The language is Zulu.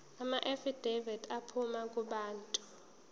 amaafidavithi aphuma kubantu